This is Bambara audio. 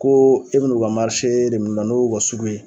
Koo e be n'u ka de min'u la n'o u ka sugu ye